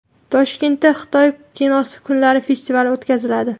Toshkentda Xitoy kinosi kunlari festivali o‘tkaziladi.